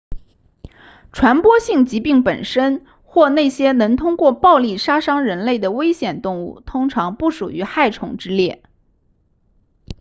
传染性疾病本身或那些能通过暴力杀伤人类的危险动物通常不属于害虫之列